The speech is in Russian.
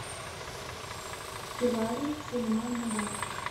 кирари сулеман нагар